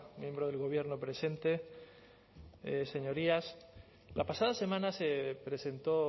miembro del gobierno presente señorías la pasada semana se presentó